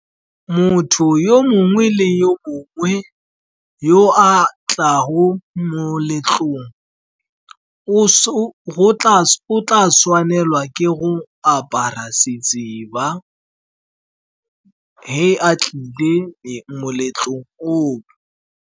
Motho yo mongwe le yo mongwe yo a tlago moletlong, o tla tshwanelwa ke go apara setseba ge a tlile moletlong o.